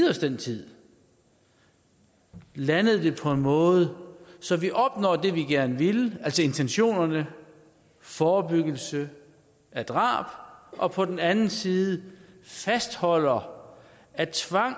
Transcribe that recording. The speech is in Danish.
os den tid landet det på en måde så vi opnår det vi gerne ville altså intentionerne forebyggelse af drab og på den anden side fastholder at tvang